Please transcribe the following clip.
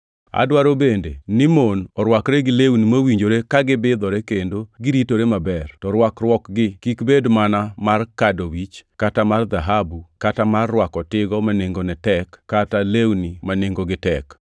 Adwaro bende ni mon orwakre gi lewni mowinjore ka gibidhore kendo giritore maber, to rwakruokgi kik bed mana mar kado wich kata mar dhahabu kata mar rwako tigo ma nengone tek kata lewni ma nengogi tek,